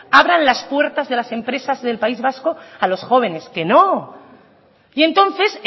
abran las puertas de las empresas del país vasco a los jóvenes que no y entonces